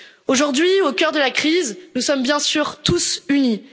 en danger. Aujourd'hui, au cœur de la crise, nous sommes bien sûr